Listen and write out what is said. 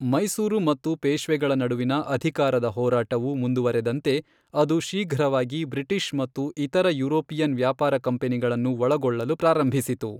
ಮೈಸೂರು ಮತ್ತು ಪೇಶ್ವೆಗಳ ನಡುವಿನ ಅಧಿಕಾರದ ಹೋರಾಟವು ಮುಂದುವರೆದಂತೆ ಅದು ಶೀಘ್ರವಾಗಿ ಬ್ರಿಟಿಷ್ ಮತ್ತು ಇತರ ಯುರೋಪಿಯನ್ ವ್ಯಾಪಾರ ಕಂಪನಿಗಳನ್ನು ಒಳಗೊಳ್ಳಲು ಪ್ರಾರಂಭಿಸಿತು.